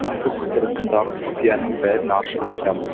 кадр сыртындағы құпияның бәрін ашып айтамыз